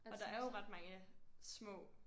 Og der er jo ret mange små